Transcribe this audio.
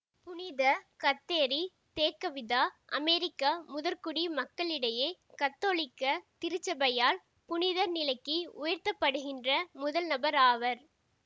புனித Kateri Tekakwitha அமெரிக்க முதற்குடி மக்களிடையே கத்தோலிக்க திருச்சபையால் புனிதர் நிலைக்கு உயர்த்தப்படுகின்ற முதல் நபர் ஆவர்